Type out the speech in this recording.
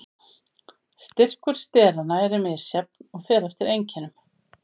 Styrkur steranna er misjafn og fer eftir einkennum.